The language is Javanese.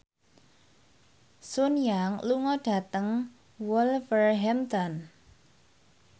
Sun Yang lunga dhateng Wolverhampton